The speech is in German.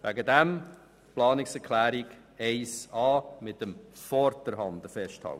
Deswegen soll die Planungserklärung 1a den Begriff «vorderhand» festhalten.